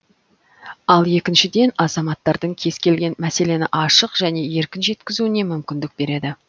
ал екіншіден азаматтардың кез келген мәселені ашық және еркін жеткізуіне мүмкіндік береді